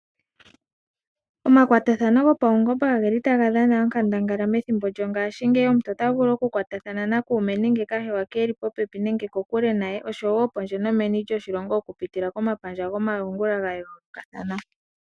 Omakwatathano gopaungomba ogeli taga dhana okandangala methimbo ngashiingeyi, omuntu ota vulu okukwatathana na kuume nenge kahewa ke, eli popepi nenge kokule naye, oshowo pondje nomeni lyoshilongo okupitila komapandja gomalungula gayoolokathana.